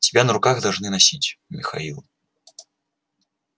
тебя на руках должны носить михаил